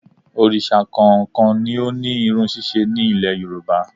Òrìsà kọ̀ọ̀kan ni ó ní irun ṣíṣe ní Ilẹ̀ Yorùbá